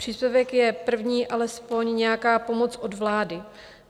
Příspěvek je první alespoň nějaká pomoc od vlády.